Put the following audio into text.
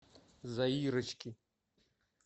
заирочки